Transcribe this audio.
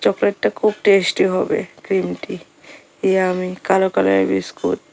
চকলেটটা খুব টেস্টি হবে ক্রিমটি ইয়াম্মি কালো কালারের বিস্কুট ।